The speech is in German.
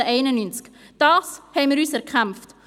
Diese haben wir uns erkämpft!